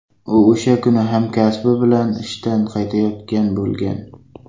U o‘sha kuni hamkasbi bilan ishdan qaytayotgan bo‘lgan.